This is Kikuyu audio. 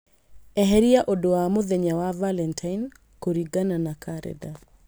eheria ũndũ wa mũthenya wa valentine kũringana na karenda